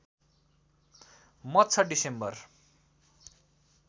मत छ डिसेम्बर